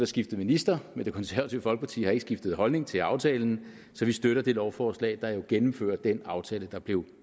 skiftet minister men det konservative folkeparti har ikke skiftet holdning til aftalen så vi støtter det lovforslag der jo gennemfører den aftale der blev